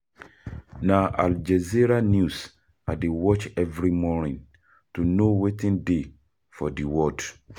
Na Al Jazeera news I dey watch every morning to know wetin dey for di world.